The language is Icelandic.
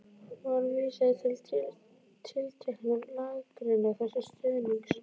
Var vísað í tilteknar lagagreinar þessu til stuðnings.